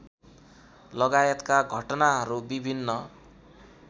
लगायतका घटनाहरू विभिन्न